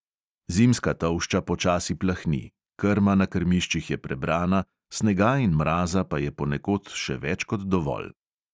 Zimska tolšča počasi plahni, krma na krmiščih je prebrana, snega in mraza pa je ponekod še več kot dovolj.